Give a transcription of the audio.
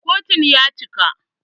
Kotun ya cika.